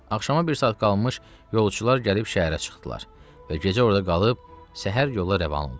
Axşama bir saat qalmış yolçular gəlib şəhərə çıxdılar və gecə orda qalıb səhər yola rəvan oldular.